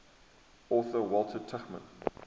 author walter tuchman